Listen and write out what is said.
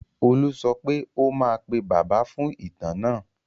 Olú sọ pé ó máa pè Bàbá fún ìtàn náà?